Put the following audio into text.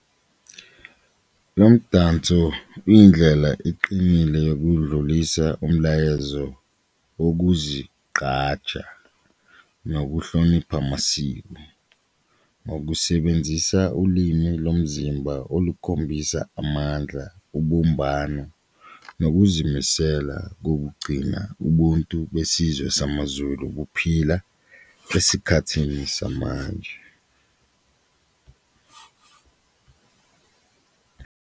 Lo mdanso uyindlela iqinile yokudlulisa umlayezo wokuzigqaja nokuhlonipha amasiko ngokusebenzisa ulimi lomzimba olukhombisa amandla, ubumbano nokuzimisela kokugcina ubuntu besizwe samaZulu kuphila esikhathini samanje.